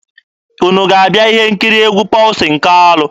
Unu ga-abịa ihe nkiri egwu Pọlsin Kalụ?